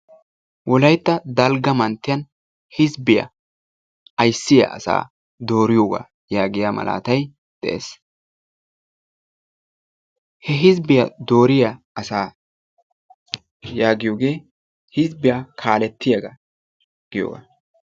Wolaytta dalgga manttiyan hizbbiya ayssiya asaa dooriyogaa yaagiya malaatayi de"es. He hizbbiya dooriya asaa yaagiyogee hizbbiya kaalettiyaga giyogaa.